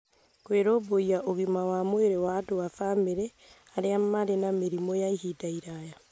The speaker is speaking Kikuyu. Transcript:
Kũrũmbũiya ũgima wa mwĩrĩ wa andũ a bamĩrĩ arĩa marĩ na mĩrimũ ya ihinda iraya